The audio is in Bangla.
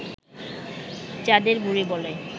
চাঁদের বুড়ি বলে